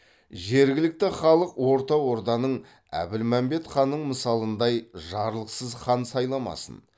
жергілікті халық орта орданың әбілмәмбет ханның мысалындай жарлықсыз хан сайламасын